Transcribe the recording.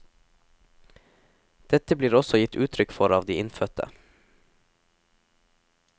Dette blir også gitt uttrykk for av de innfødte.